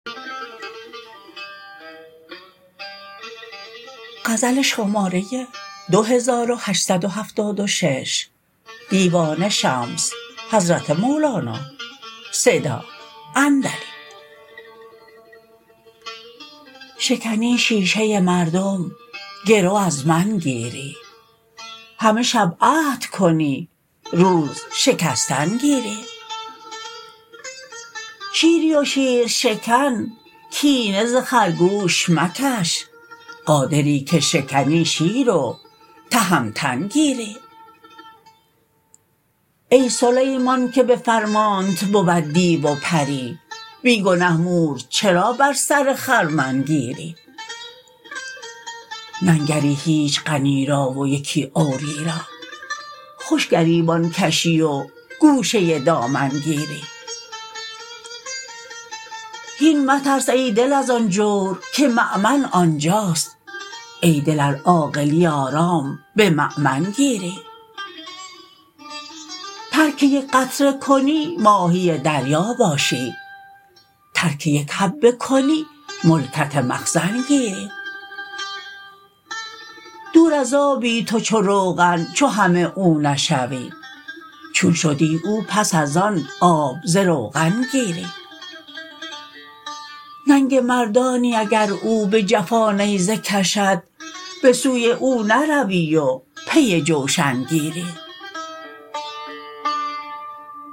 شکنی شیشه مردم گرو از من گیری همه شب عهد کنی روز شکستن گیری شیری و شیرشکن کینه ز خرگوش مکش قادری که شکنی شیر و تهمتن گیری ای سلیمان که به فرمانت بود دیو و پری بی گنه مور چرا بر سر خرمن گیری ننگری هیچ غنی را و یکی عوری را خوش گریبان کشی و گوشه دامن گیری هین مترس ای دل از آن جور که مؤمن آن جاست ای دل ار عاقلی آرام به مؤمن گیری ترک یک قطره کنی ماهی دریا باشی ترک یک حبه کنی ملکت مخزن گیری دور از آبی تو چو روغن چو همه او نشوی چون شدی او پس از آن آب ز روغن گیری ننگ مردانی اگر او به جفا نیزه کشد به سوی او نروی و پی جوشن گیری